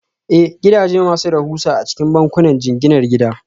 Ee, gidaje masu rahusa a cikin bankunan jinginar gida